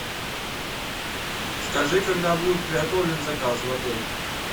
скажи когда будет приготовлен заказ в отеле